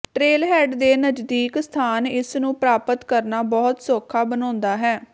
trailhead ਦੇ ਨਜ਼ਦੀਕ ਸਥਾਨ ਇਸ ਨੂੰ ਪ੍ਰਾਪਤ ਕਰਨਾ ਬਹੁਤ ਸੌਖਾ ਬਣਾਉਂਦਾ ਹੈ